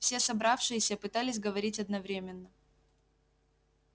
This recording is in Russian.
все собравшиеся пытались говорить одновременно